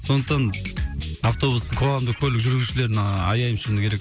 сондықтан автобус қоғамдық көлік жүргізушілерін а аяймын шыны керек